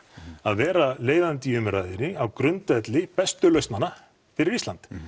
að vera leiðandi í umræðunni á grundvelli bestu lausnanna fyrir Ísland